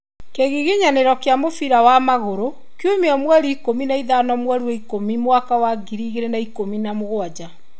Kĩgiginyanĩro kĩa mũbira wa magũrũ kiumia mweri ikũmi na ithano mweri wa ikũmi mwaka wa ngiri igĩrĩ na ikũmi na mũgwanja.